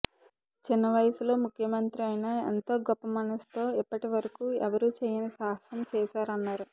చిన్న వయస్సులో ముఖ్యమంత్రి అయినా ఎంతో గొప్ప మనస్సుతో ఇప్పటివరకు ఎవరూ చేయని సాహసం చేశారన్నారు